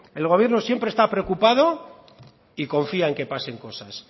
el gobierno siempre está preocupado y confía en que pasen cosas